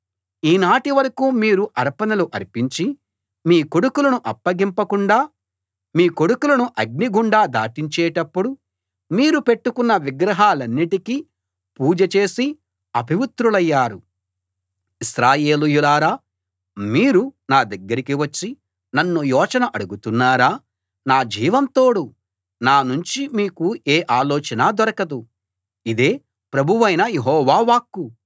ఈనాటి వరకూ మీరు అర్పణలు అర్పించి మీ కొడుకులను అగ్నిగుండా దాటించేటప్పుడు మీరు పెట్టుకున్న విగ్రహాలన్నిటికీ పూజ చేసి అపవిత్రులయ్యారు ఇశ్రాయేలీయులారా మీరు నా దగ్గరికి వచ్చి నన్ను యోచన అడుగుతున్నారా నా జీవం తోడు నానుంచి మీకు ఏ ఆలోచనా దొరకదు ఇదే ప్రభువైన యెహోవా వాక్కు